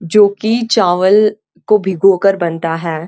जो कि चावल को भिगोकर बनता है।